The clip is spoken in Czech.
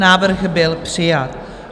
Návrh byl přijat.